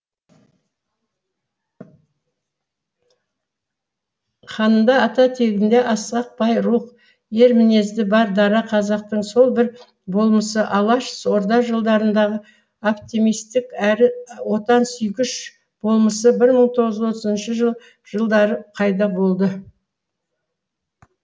қанында ата тегінде асқақ бай рух ер мінезді бар дара қазақтың сол бір болмысы алаш орда жылдарындағы оптимистік әрі отансүйгіш болмысы бір мың тоғыз жүз отызыншы жылдары қайда болды